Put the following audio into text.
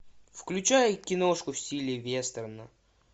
включай киношку в стиле вестерна